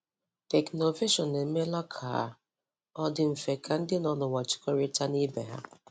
Teknụvation emeela ka ọ dị dị mfe ka ndị nọ n'ụwa jikọrịta na ibe ha.